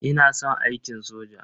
Ina son aikin soja.